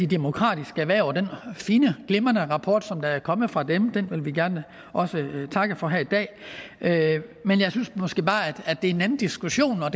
demokratiske erhverv og den fine glimrende rapport som er kommet fra dem vil vi gerne takke for her i dag men jeg synes måske bare at det er en anden diskussion og